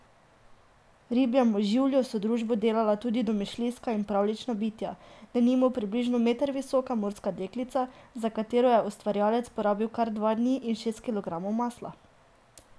Ribjemu življu so družbo delala tudi domišljijska in pravljična bitja, denimo približno meter visoka morska deklica, za katero je ustvarjalec porabil kar dva dni in šest kilogramov masla!